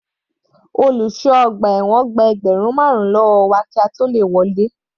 Olùṣọ́ ọgbà ẹ̀wọ̀n gba ẹgbẹ́rùn marun lọ́wọ́ wa kí a tó le wọlé.